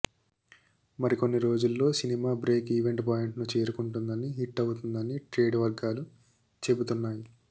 మరి కొన్ని రోజుల్లో సినిమా బ్రేక్ ఈవెన్ పాయింట్ ను చేరుకుంటుందని హిట్ అవుతుందని ట్రేడ్ వర్గాలు చెబుతున్నాయి